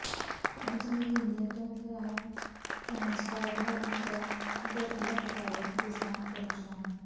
ਪੰਜ ਮਹੀਨੇ ਤੋਂ ਖ਼ਰਾਬ ਟਰਾਂਸਫਾਰਮਰ ਨਾ ਬਦਲਣ ਕਾਰਨ ਕਿਸਾਨ ਪ੍ਰੇਸ਼ਾਨ